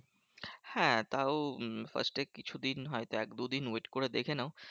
হ্যাঁ তাও উম first এ কিছুদিন হয়তো এক দু দিন wait করে দেখে নাও।